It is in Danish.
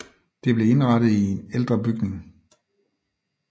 Det blev indrettet i ældre bygning